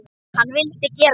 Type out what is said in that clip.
Hann vildi gera það.